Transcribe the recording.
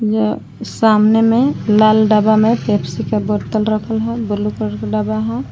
ये सामने में लाल डब्बा में पेप्सी का बोतल रखा है ब्लू कलर का डब्बा है।